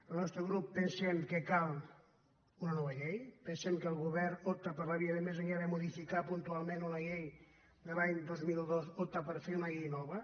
el nostre grup pensem que cal una nova llei pensem que el govern opta per la via de més enllà de modificar puntualment una llei de l’any dos mil dos fer una llei nova